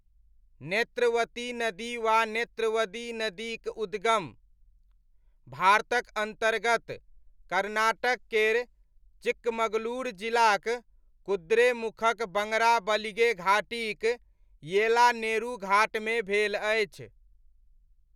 नेत्रवती नदी वा नेत्रवती नदीक उद्गम, भारतक अन्तर्गत, कर्नाटक केर चिक्कमगलुरु जिलाक, कुद्रेमुखक बङ्गराबलिगे घाटीक, येलानेरू घाटमे भेल अछि।